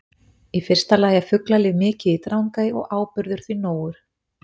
Í fyrsta lagi er fuglalíf mikið í Drangey og áburður því nógur.